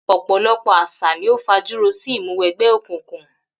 Ò̩pò̩lo̩pò̩ às̩à ni ó fajúro sí ìmúwe̩gbé̩ òkùnkùn